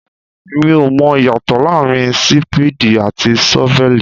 Mi ò mọ ìyàtọ̀ láàárín Sípéèdì àti ṣọ́vẹ́lì.